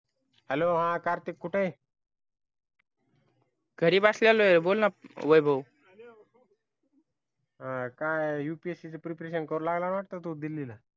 hello हा कार्तिक कुठे आहे घरी बसलेलो आहे बोलण वैभव हा काय upsc ची preparation करू लागला वाटत दिल्लीला